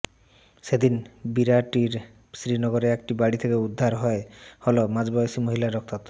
সেদিন বিরাটির শ্রীনগরে একটি বাড়ি থেকে উদ্ধার হল মাঝবয়সী মহিলার রক্তাক্ত